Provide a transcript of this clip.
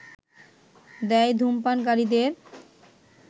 দেয় ধূমপানকারীদের